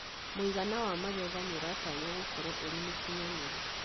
Mũigana wa magetha nĩ ũratanywo gũkorwo ũrĩ mũkinyanĩru.